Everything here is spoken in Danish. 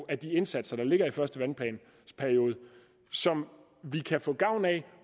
af de indsatser der ligger i første vandplans periode som vi kan få gavn af